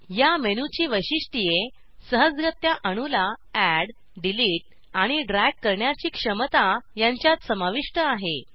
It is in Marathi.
या मेनू ची वैशिष्ट्ये सहजगत्या अणू ला एड डिलिट आणि ड्रॅग करण्याची क्षमता यांच्यात समाविष्ट आहे